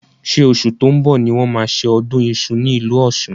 Ṣé oṣù tó ń bọ̀ ni wọ́n máa ṣe ọdún iṣu ní ìlú Ọ̀ṣun?